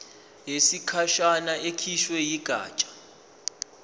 yesikhashana ekhishwe yigatsha